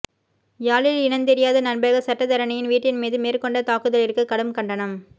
யாழில் இனந்தெரியாத நபர்கள் சட்டத்தரணியின் வீட்டின் மீது மேற்கொண்ட தாக்குதலிற்கு கடும் கண்டனம்